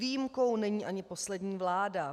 Výjimkou není ani poslední vláda.